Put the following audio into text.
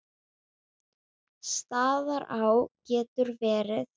Staðará getur verið